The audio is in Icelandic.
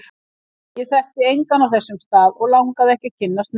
Ég þekkti engan á þessum stað, og langaði ekki að kynnast neinum.